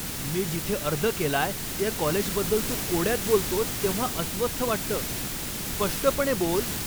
मी जिथे अर्ज केलाय त्या कॉलेजबद्दल तू कोड्यात बोलतोस तेव्हा अस्वस्थ वाटतं. स्पष्टपणे बोल!